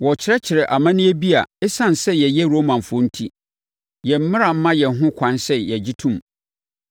Wɔrekyerɛkyerɛ amanneɛ bi a ɛsiane sɛ yɛyɛ Romafoɔ enti, yɛn mmara mma yɛn ho ɛkwan sɛ yɛgye tom.”